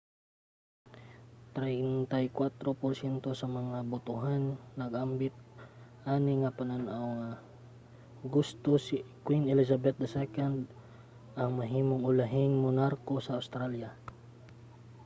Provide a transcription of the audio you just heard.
34 porsyento sa mga botohan nag-ambit ani nga panan-aw nga gusto si queen elizabeth ii ang mahimong ulahing monarko sa australia